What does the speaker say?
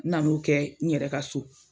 N nan'o kɛ n yɛrɛ ka so